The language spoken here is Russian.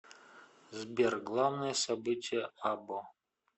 сбер главное событие або